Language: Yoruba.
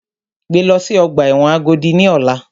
Gbé lọ sí ọgbà ẹ̀wọ̀n Agodi ní ọ̀la!